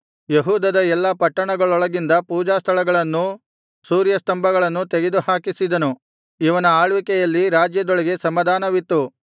ಯೆಹೂದದ ಎಲ್ಲಾ ಪಟ್ಟಣಗಳೊಳಗಿನಿಂದ ಪೂಜಾಸ್ಥಳಗಳನ್ನೂ ಸೂರ್ಯಸ್ತಂಭಗಳನ್ನೂ ತೆಗೆದುಹಾಕಿಸಿದನು ಇವನ ಆಳ್ವಿಕೆಯಲ್ಲಿ ರಾಜ್ಯದೊಳಗೆ ಸಮಾಧಾನವಿತ್ತು